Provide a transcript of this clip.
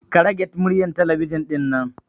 Ka rage muryar talabijin ɗinnan